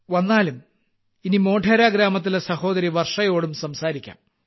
വന്നാലും ഇനി മോഢേര ഗ്രാമത്തിലെ സഹോദരി വർഷയോടും സംസാരിക്കാം